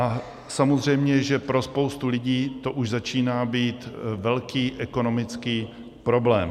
Je samozřejmé, že pro spoustu lidí to už začíná být velký ekonomický problém.